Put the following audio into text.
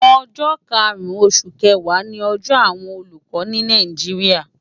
Ójó kárún ósú kéwá ni òjò àwón ólúkò ni Náijiria